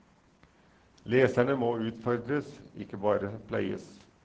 Leserne må utfordres, ikke bare pleies.